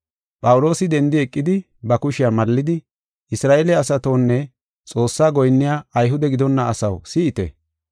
Phawuloosi dendi eqidi ba kushe mallidi, “Isra7eele asatonne, Xoossaa goyinniya Ayhude gidonna asaw, si7ite.